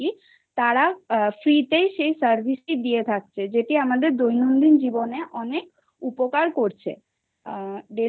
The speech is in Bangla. তারা free সেই service টা দিয়ে থাকে যেটি আমাদের দৈনন্দিন জীবনে অনেক উপকার করছে